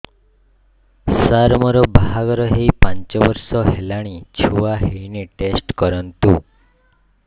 ସାର ମୋର ବାହାଘର ହେଇ ପାଞ୍ଚ ବର୍ଷ ହେଲାନି ଛୁଆ ହେଇନି ଟେଷ୍ଟ କରନ୍ତୁ